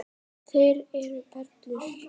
Þeir eru perlur.